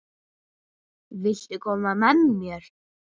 Viltu koma með mér?